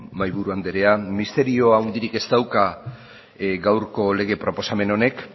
mahaiburu andrea misterio handirik ez dauka gaurko lege proposamen honek